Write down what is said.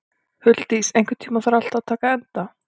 Huldís, einhvern tímann þarf allt að taka enda.